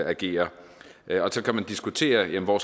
agere så kan man diskutere hvor